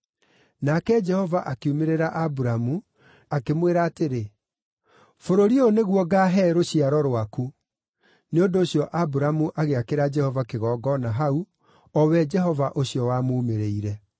Nake Jehova akiumĩrĩra Aburamu, akĩmwĩra atĩrĩ, “Bũrũri ũyũ nĩguo ngaahe rũciaro rwaku.” Nĩ ũndũ ũcio Aburamu agĩakĩra Jehova kĩgongona hau, o we Jehova ũcio wamuumĩrĩire.